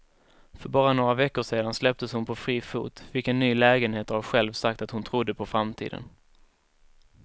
För bara några veckor sedan släpptes hon på fri fot, fick en ny lägenhet och har själv sagt att hon trodde på framtiden.